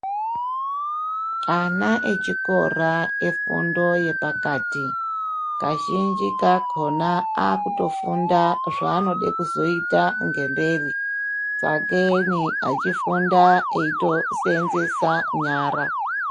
Ana echikora efundo yepakati kazhinji kakona aakutofunda zvaanode kuzoita ngemberi sakeni achifunda eitoseenzesa nyara.